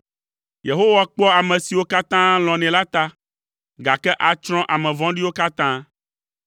Yehowa kpɔa ame siwo katã lɔ̃nɛ la ta, gake atsrɔ̃ ame vɔ̃ɖiwo katã.